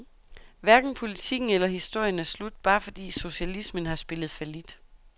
Hverken politikken eller historien er slut, bare fordi socialismen har spillet fallit.